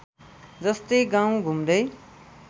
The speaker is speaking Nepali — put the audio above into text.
जस्तै गाउँ घुम्दै